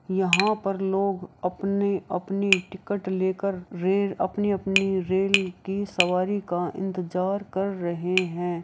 यहाँ पर लोग अपने-अपने टिकट लेकर रेल अपने-अपने रेल की सवारी का इंतजार कर रहे है।